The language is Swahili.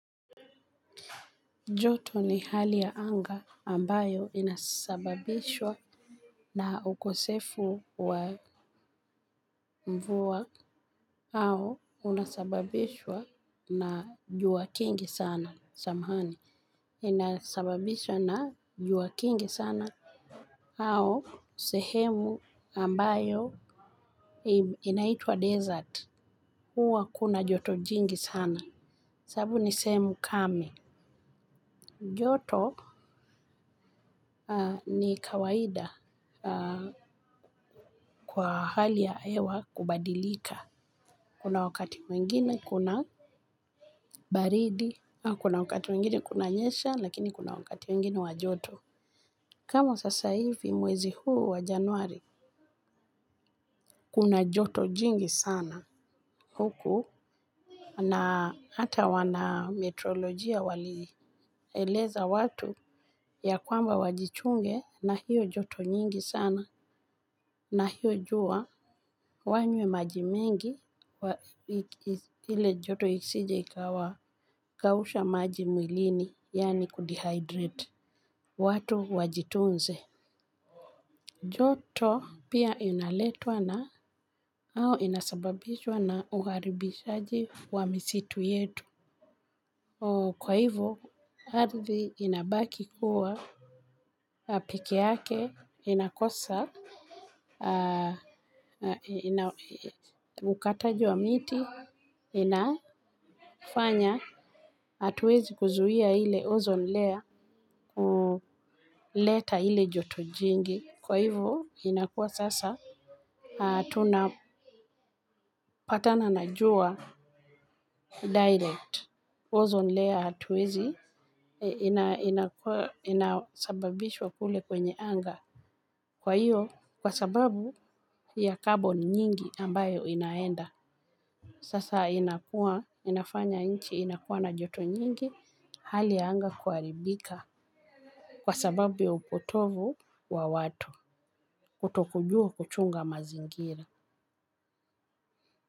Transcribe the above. Joto ni hali ya anga ambayo inasababishwa na ukosefu wa mvua. Au unasababishwa na jua kingi sana. Samahani, inasababishwa na jua kingi sana au sehemu ambayo inaitwa desert huwa kuna joto jingi sana sababu ni sehemu kame. Joto ni kawaida kwa hali ya hewa kubadilika. Kuna wakati mwingine kuna baridi au kuna wakati mwingine kunanyesha lakini kuna wakati mwingine wa joto. Kama sasa hivi mwezi huu wa januari. Kuna joto jingi sana huku. Na hata wanametrologia walieleza watu ya kwamba wajichunge na hiyo joto nyingi sana. Na hiyo jua wanywe maji mengi. Kuwa ile joto isije ikawa kausha maji mwilini yani kudehydrate watu wajitunze. Joto pia inaletwa na au inasababishwa na uharibishaji wa misitu yetu. Kwa hivyo ardhi inabaki kuwa peke yake inakosa ukataji wa miti inafanya hatuezi kuzuia ile ozone layer leta ile joto jingi kwa hivo inakuwa sasa tunapatana na jua direct ozone layer hatuwezi ina inaosababishwa kule kwenye anga kwa hio kwa sababu ya carbon nyingi ambayo inaenda sasa inakuwa inafanya nchi inakuwa na joto nyingi hali ya anga huharibika. Kwa sababu ya upotovu wa watu, kutokujua kuchunga mazingira.